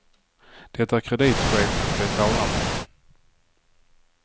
Det är kreditchefen de talar med.